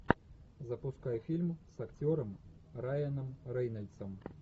запускай фильм с актером райаном рейнольдсом